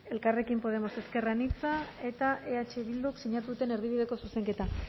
elkarrekin podemos ezker anitzak eta eh bilduk sinatu duten erdibideko zuzenketa